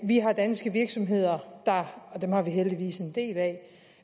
vi har danske virksomheder og dem har vi heldigvis en del af